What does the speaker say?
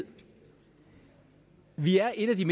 vi har et